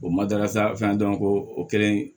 O madarasa fɛn dɔrɔn ko o kɛlen